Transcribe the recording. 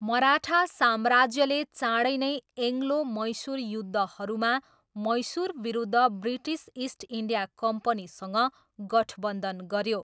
मराठा साम्राज्यले चाँडै नै एङ्ग्लो मैसुर युद्धहरूमा मैसुरविरुद्ध ब्रिटिस इस्ट इन्डिया कम्पनीसँग गठबन्धन गऱ्यो।